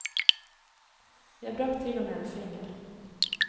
Jeg brakk til og med en finger.